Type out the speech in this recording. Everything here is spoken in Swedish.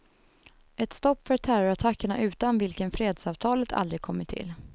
Ett stopp för terrorattackerna utan vilken fredsavtalet aldrig kommit till.